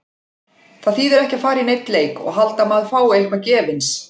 Það þýðir ekki að fara í neinn leik og halda að maður fái eitthvað gefins.